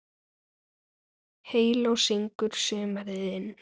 Heyló syngur sumarið inn